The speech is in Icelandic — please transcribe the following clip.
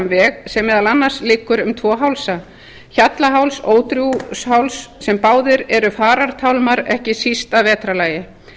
veg sem meðal annars liggur um tvo hálsa hjallaháls og ódrjúgsháls sem báðir eru farartálmar ekki síst að vetrarlagi